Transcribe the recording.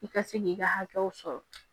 I ka se k'i ka hakɛw sɔrɔ